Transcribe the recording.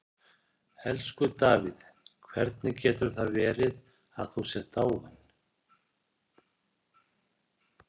Elsku Davíð, hvernig getur það verið að þú sért dáinn?